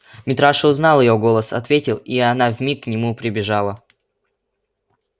митраша узнал её голос ответил и она вмиг к нему прибежала